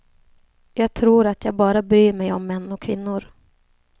Jag tror att jag bara bryr mig om män och kvinnor.